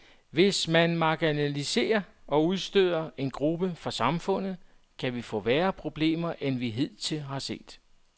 Hvis man marginaliserer og udstøder en gruppe fra samfundet, kan vi få værre problemer, end vi hidtil har set.